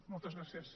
moltes gràcies